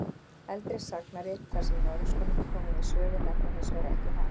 Eldri sagnarit þar sem Noregskonungar koma við sögu nefna hins vegar ekki Harald.